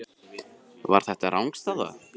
Var þetta rangstaða?